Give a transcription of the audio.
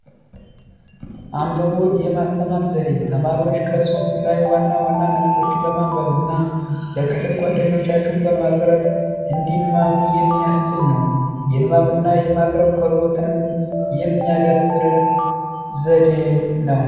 አንብቦ የማስተማር ዘዴ ተማሪዎች ከሁፍ ላይ ዋና ዋና ነጥቦችን በማንበብና ለክፍል ጓደኞቻችሁ በማቅረብ እንዲማሩ የሚያስነው የንባብና የማቅረብንም የሚያዳብር ዘዴ ነው